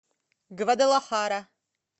гвадалахара